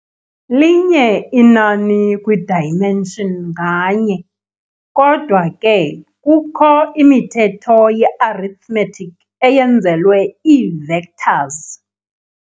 Linye inani kwi-dimension nganye, Kodwa ke kukho imithetho ye-arithmetic eyenzelwe ii-vectors.